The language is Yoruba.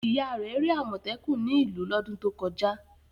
Ìyá rẹ̀ rí àmọ̀tẹ́kùn ní ìlú ọdún tó kọjá.